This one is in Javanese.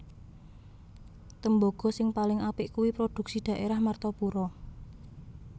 Tembogo sing paling apik kui produksi daerah Martapura